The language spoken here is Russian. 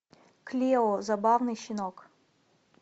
клео забавный щенок